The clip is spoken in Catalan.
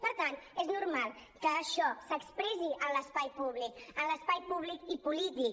per tant és normal que això s’expressi en l’espai públic en l’espai públic i polític